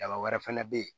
Daba wɛrɛ fɛnɛ bɛ ye